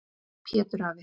Pétur afi.